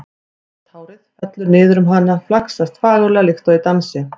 Sítt hárið fellur niður um hana, flaksast fagurlega líkt og í dansi.